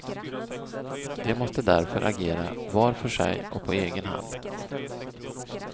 De måste därför agera var för sig och på egen hand.